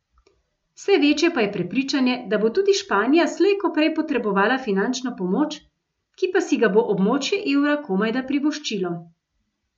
Vse večje pa je prepričanje, da bo tudi Španija slej ko prej potrebovala finančno pomoč, ki pa si ga bo območje evra komajda privoščilo.